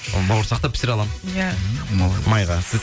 бауырсақты пісіре аламын иә майға сіз